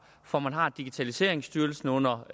for man har digitaliseringsstyrelsen under